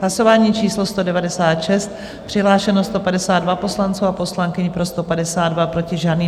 Hlasování číslo 196, přihlášeno 152 poslanců a poslankyň, pro 152, proti žádný.